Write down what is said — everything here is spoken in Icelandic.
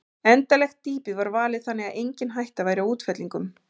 Endanlegt dýpi var valið þannig að engin hætta væri á útfellingum.